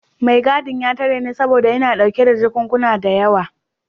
Mai gadin ya tare ni saboda ina dauke da jakunkuna da yawa.